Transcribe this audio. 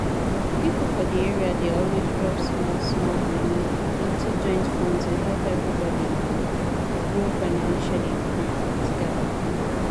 people for the area dey always drop small small money into joint fund to help everybody um grow financially um together